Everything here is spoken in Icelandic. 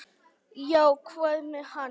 """Já, hvað með hann?"""